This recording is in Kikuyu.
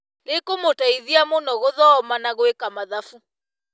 Rĩkũmũteithia mũno gũthoma na gwĩka mathabu